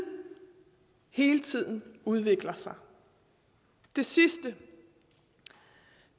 hele tiden udvikler sig det sidste